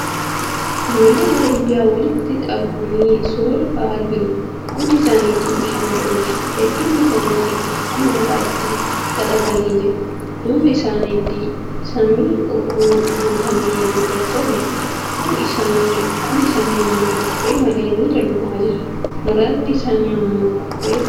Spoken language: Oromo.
Ijoollee baadiyyaa walitti qabamanii suura ka'aa jiru. Hundi isaanituu shamarraniidha. Hedduun isaanii kafana mataatti xaxatanii jiru. Duuba isaanitti samiin urriin guutame mul'achaa jira. Kuun isaanii kophee malee miila duwwas jiru. Muraasni isaanii immoi kophee godhatanii jiru.